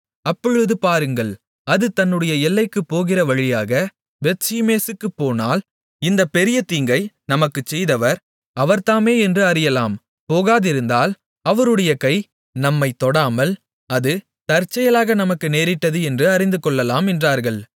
அப்பொழுது பாருங்கள் அது தன்னுடைய எல்லைக்குப் போகிறவழியாக பெத்ஷிமேசுக்குப் போனால் இந்தப் பெரிய தீங்கை நமக்குச் செய்தவர் அவர்தாமே என்று அறியலாம் போகாதிருந்தால் அவருடைய கை நம்மைத் தொடாமல் அது தற்செயலாக நமக்கு நேரிட்டது என்று அறிந்துகொள்ளலாம் என்றார்கள்